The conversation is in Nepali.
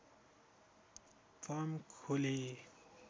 फर्म खोले